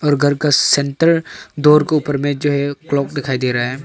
घर का centre door का ऊपर में जो है क्लॉक दिखाई दे रहा है।